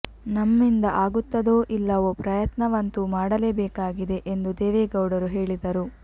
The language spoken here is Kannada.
ನಮ್ಮಿಂದ ಆಗುತ್ತದೋ ಇಲ್ಲವೋ ಪ್ರಯತ್ನವಂತೂ ಮಾಡಲೇ ಬೇಕಾಗಿದೆ ಎಂದು ದೇವೇಗೌಡರು ಹೇಳಿದರು